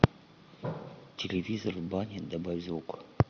телевизор в бане добавь звук